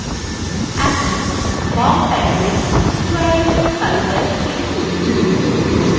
এখন বাম panel queries তালিকায় click করুন